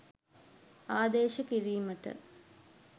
ආදේශ කිරීමට